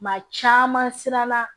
Maa caman siranna